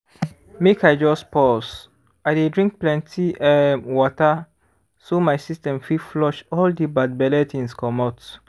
make i just pause. i dey drink plenty um water so my system fit flush all the bad belle things comot